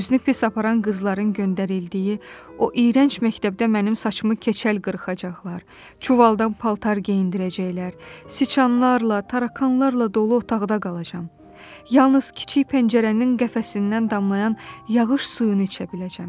Özünü pis aparan qızların göndərildiyi o iyrənc məktəbdə mənim saçımı keçəl qırxacaqlar, çuvaldan paltar geyindirəcəklər, siçanlarla, tarakanlarla dolu otaqda qalacam, yalnız kiçik pəncərənin qəfəsindən damlayan yağış suyunu içə biləcəm.